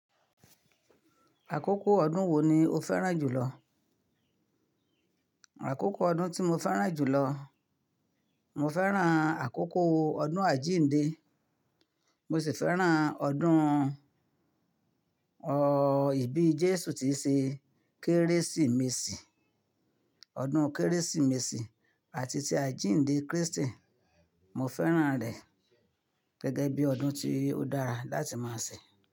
Àkókò ọdún wo ni o fẹ́ràn jùlọ? Àkókò ọdún tí mo fẹ́ràn jùlọ, mo fẹ́ràn àkókò ọdún àjíǹde. Mo sì fẹ́ràn ọdún, ọ́, ìbí Jésù tíi ṣe Kérésìmesì. Ọdún Kérésìmesì àti ti àjíǹde Krístì, mo fẹ́ràn rẹ̀ gẹ́gẹ́ bíi ọdún tí ó dára láti máa ṣẹ.